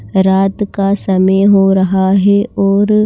रात का समे हो रहा है और--